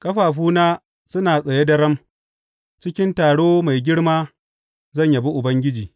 Ƙafafuna suna tsaye daram; cikin taro mai girma zan yabi Ubangiji.